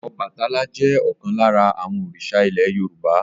Ọbàtálá jẹ́ ọ̀kan lára àwọn òrìṣà ilẹ̀ Yorùbá.